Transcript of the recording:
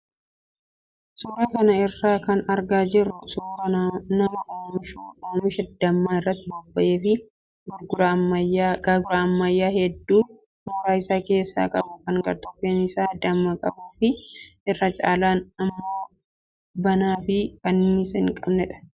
Suuraa kana irraa kan argaa jirru suuraa nama oomisha dammaa irratti bobba'ee fi gaagura ammayyaa hedduu mooraa isaa keessaa qabu kan gartokkeen isaa damma qabuu fi irra caalaan immoo banaa fi kanniisa hin qabnedha.